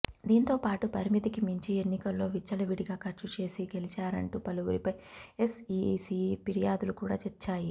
దీంతోపాటు పరిమితికి మించి ఎన్నికల్లో విచ్చలవిడిగా ఖర్చు చేసి గెలిచారంటూ పలువురిపై ఎస్ఈసీ ఫిర్యాదులు కూడా వచ్చాయి